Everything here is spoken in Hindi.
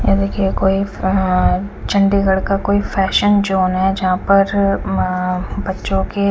ए देखिये कोई अ चंडीगढ़ का कोई फेशन जॉन है जहाँ पर उम्म म बच्चो के--